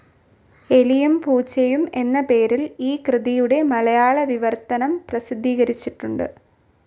എലിയും പൂച്ചയും എന്ന പേരിൽ ഈ കൃതിയുടെ മലയാള വിവർത്തനം പ്രസിദ്ധീകരിച്ചിട്ടുണ്ട്.